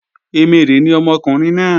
Emèrè ni ọmọkùnrin náà